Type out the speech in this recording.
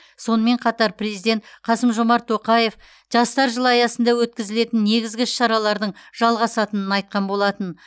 сонымен қатар президент қасым жомарт тоқаев жастар жылы аясында өткізілетін негізгі іс шаралардың жалғасатынын айтқан болатын